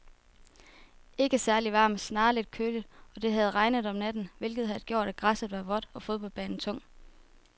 Ikke særligt varmt, snarere lidt køligt, og det havde regnet om natten, hvilket havde gjort græsset vådt og boldbanen tung.